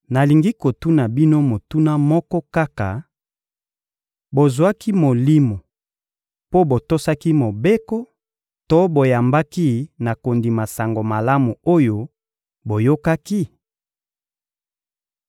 Nalingi kotuna bino motuna moko kaka: «Bozwaki Molimo mpo botosaki Mobeko to mpo boyambaki na kondima Sango Malamu oyo boyokaki?»